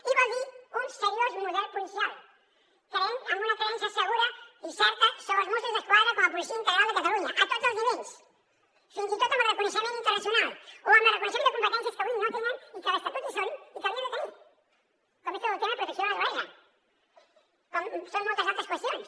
i vol dir un seriós model policial amb una creença segura i certa sobre els mossos d’esquadra com a policia integral de catalunya a tots els nivells fins i tot amb el reconeixement internacional o amb el reconeixement de competències que avui no tenen i que a l’estatut hi són i que haurien de tenir com és tot el tema de protecció de la naturalesa com són moltes altres qüestions